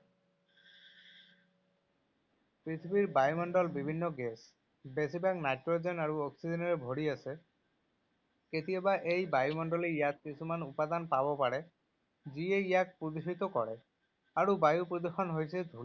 পৃথিৱীৰ বায়ুমণ্ডল বিভিন্ন গেছ, বেছিভাগ নাইট্ৰজেন আৰু অক্সিজেনেৰে ভৰি আছে। কেতিয়াবা এই বায়ুমণ্ডলে ইয়াত কিছুমান উপাদান পাব পাৰে যিয়ে ইয়াক প্ৰদূষিত কৰে আৰু বায়ু । প্ৰদূষণ হৈছে